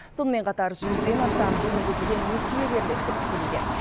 сонымен қатар жүзден астам жеңілдетілген несие беріледі деп күтілуде